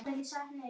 sagði Sævar.